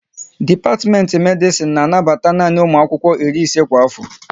Dipatimenti Medisin na anabata nanị ụmụ akwụkwọ iri ise kwa afo